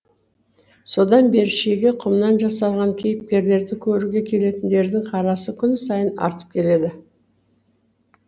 содан бері шеге құмнан жасалған кейіпкерлерді көруге келетіндердің қарасы күн сайын артып келеді